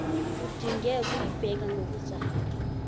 udinge ukuyibheka ngokuzayo